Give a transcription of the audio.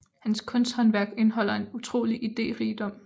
Hans kunsthåndværk indeholder en utrolig iderigdom